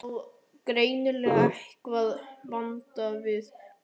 Hann á greinilega eitthvað vantalað við mig.